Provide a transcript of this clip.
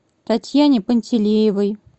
татьяне пантелеевой